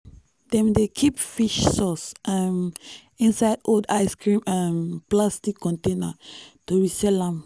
dem dey keep fish sauce um inside old ice cream um plastic container to resell am.